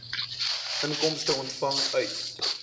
inkomste ontvang uit